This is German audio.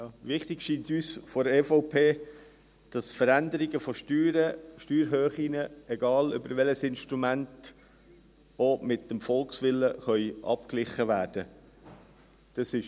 Wichtig scheint uns von der EVP, dass Veränderungen von Steuern, von Steuerhöhen, egal über welches Instrument, auch mit dem Volkswillen abgeglichen werden können.